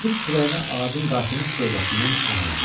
Qədir kürəyini ağacın qartımış gövdəsindən araladı.